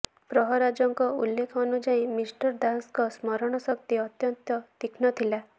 ପ୍ରହରାଜଙ୍କ ଉଲ୍ଲେଖ ଅନୁଯାୟୀ ମିଷ୍ଟର ଦାସଙ୍କର ସ୍ମରଣଶକ୍ତି ଅତ୍ୟନ୍ତ ତୀକ୍ଷ୍ଣ ଥିଲା